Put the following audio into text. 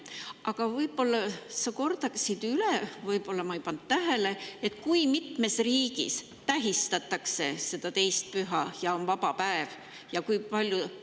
Aga ehk sa kordaksid üle, võib-olla ma ei pannud tähele: kui mitmes riigis tähistatakse seda 2. püha ja antakse seepärast vaba päev?